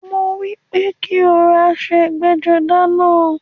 Mo wípé kí o ran aṣọ ẹgbẹ́-jọdá náà.